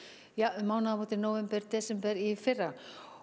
um mánaðamót nóvember desember í fyrra